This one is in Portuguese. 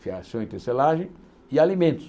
fiação e tecelagem, e alimentos.